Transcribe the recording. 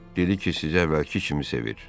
Dedi ki, sizi əvvəlki kimi sevir.